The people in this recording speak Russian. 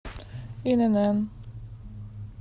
инн